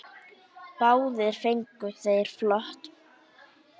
Báðir fengu þeir flöt blýþök.